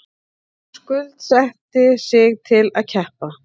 Skuldsetti sig til að keppa